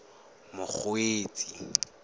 mokgweetsi